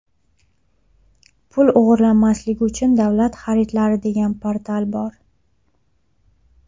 Pul o‘g‘irlanmasligi uchun davlat xaridlari degan portal bor.